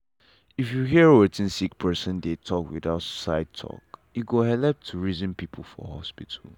if you hear wetin sick person dey talk without side talk e go helep to reason people for hospital.